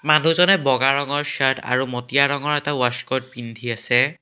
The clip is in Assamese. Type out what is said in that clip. মানুহজনে বগা ৰঙৰ চাৰ্ট আৰু মটীয়া ৰঙৰ এটা ৱাছকোট পিন্ধি আছে।